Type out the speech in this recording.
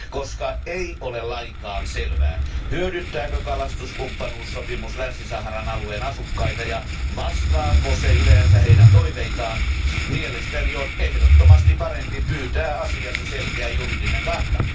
Koska ei ole lainkaan selvää, hyödyttääkö kalastuskumppanuussopimus Länsi Saharan alueen asukkaita ja vastaako se yleensä heidän toiveitaan, mielestäni on ehdottomasti parempi pyytää asiasta selkeä juridinen kanta.